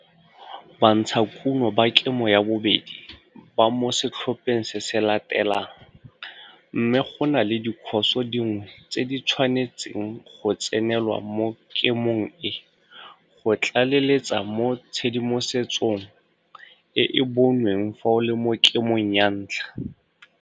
Bantshakuno ba Kemo 2, ba mo setlhopheng se se latelang, mme go na le dikhoso dingwe tse di tshwanetseng go tsenelwa mo kemong e go tlaleletsa mo tshedimosetsong e e bonweng fa o le mo Kemong 1.